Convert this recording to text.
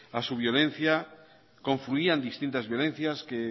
a su violencia confluían distintas violencias que